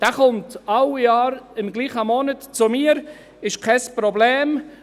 Er kommt jedes Jahr im gleichen Monat zu mir, dies ist kein Problem.